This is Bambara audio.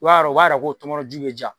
B'a yɔrɔ o b'a yira k'o tɔŋɔnɔnju be diya